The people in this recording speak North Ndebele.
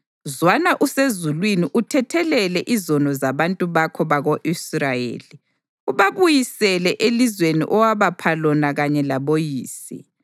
zwana usezulwini uthethelele izono zabantu bakho bako-Israyeli ubabuyisele elizweni owabapha lona kanye laboyise.